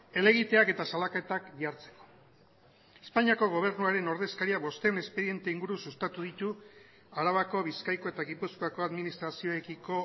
helegiteak eta salaketak jartzeko espainiako gobernuaren ordezkaria bostehun espediente inguru sustatu ditu arabako bizkaiko eta gipuzkoako administrazioekiko